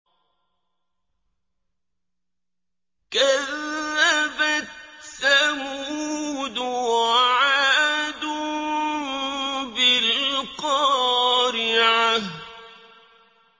كَذَّبَتْ ثَمُودُ وَعَادٌ بِالْقَارِعَةِ